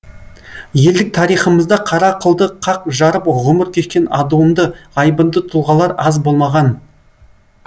елдік тарихымызда қара қылды қақ жарып ғұмыр кешкен адуынды айбынды тұлғалар аз болмаған